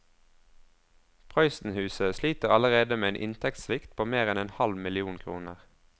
Prøysenhuset sliter allerede med en inntektssvikt på mer enn en halv million kroner.